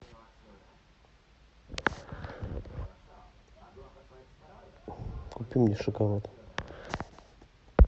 купи мне шоколад